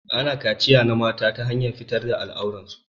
Ana kachiya na mata ta hanyar fitar da al'aurar su.